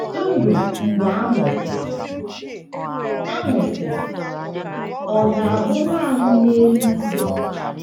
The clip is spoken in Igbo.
Ndụ Mgbe A Nwụsịrị A Nwụsịrị ọ̀ ga - abụ nanị n’eluigwe?